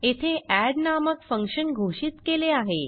येथे एड नामक फंक्शन घोषित केले आहे